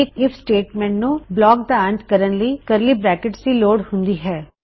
ਇਕ if statement ਨੂੰ block ਦਾ ਅੰਤ ਕਰਨ ਲਈ ਕਰਲੀ ਬਰੈਕਿਟਸ ਦੀ ਲੋੜ ਹੁੰਦੀ ਹੈ